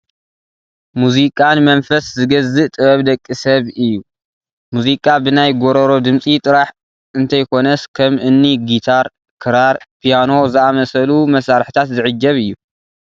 ሙዚቃ ንመንፈስ ዝገዝእ ጥበብ ደቂ ሰብ እዩ፡፡ ሙዚቃ ብናይ ጐሮሮ ድምፂ ጥራሕ እንተይኮነስ ከም እኒ ጊታር፣ ክራር፣ ፒያኖ ዝኣምሰሉ መሳርሕታት ዝዕጀብ እዩ፡፡